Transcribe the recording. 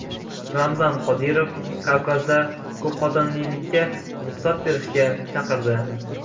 Ramzan Qodirov Kavkazda ko‘pxotinlilikka ruxsat berishga chaqirdi.